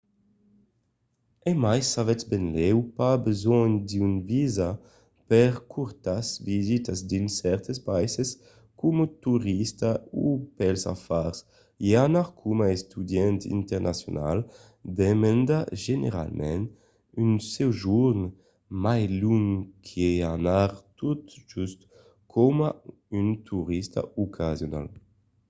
e mai s’avètz benlèu pas besonh d’un visa per de cortas visitas dins cèrtes païses coma torista o pels afars i anar coma estudiant internacional demanda generalament un sojorn mai long qu’i anar tot just coma un torista ocasional